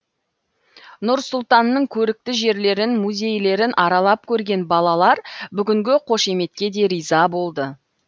нұр сұлтанның көрікті жерлерін музейлерін аралап көрген балалар бүгінгі қошеметке де риза болды